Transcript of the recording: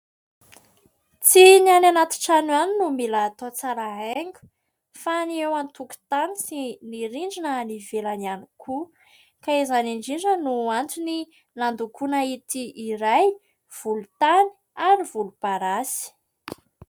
Tsy ny any anaty trano ihany no mila hatao tsara haingo fa ny eo an-tokotany sy ny rindrina ivelany ihany koa ka izany indrindra no antony nandokoana ity iray volontany ary volomparasy.